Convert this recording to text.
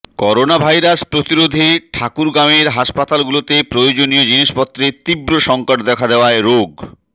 coronavirus প্রতিরোধে ঠাকুরগাঁওয়ের হাসপাতালগুলোতে প্রয়োজনীয় জিনিসপত্রের তীব্র সংকট দেখা দেয়ায় রোগ